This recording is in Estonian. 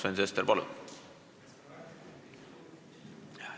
Sven Sester, palun!